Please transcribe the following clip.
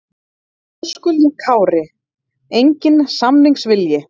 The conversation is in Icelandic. Höskuldur Kári: Enginn samningsvilji?